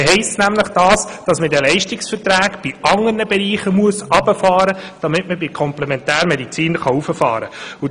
Das heisst nämlich, dass man in den Leistungsverträgen in anderen Bereichen herunterfahren muss, damit man bei der Komplementärmedizin erhöhen kann.